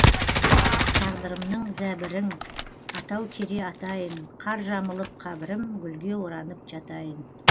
тағдырымның зәбірің атау кере атайын қар жамылып қабірім гүлге оранып жатайын